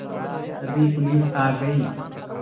तभी पुलिस आ गई